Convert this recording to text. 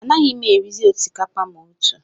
Anaghị m erizi osikapa ma otu